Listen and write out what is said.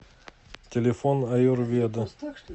телефон аюрведа